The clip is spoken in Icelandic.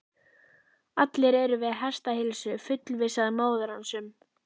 Allir eru við hestaheilsu, fullvissaði móðir hans um.